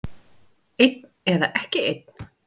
Einn eða ekki einn.